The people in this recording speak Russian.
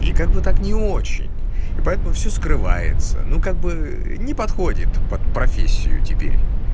и как бы так не очень поэтому все скрывается ну как бы не подходит под профессию теперь